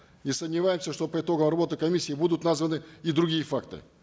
не сомневаемся что по итогам работы комиссии будут названы и другие факты